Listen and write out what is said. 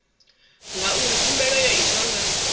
ngauri khumbelo yo itwa nga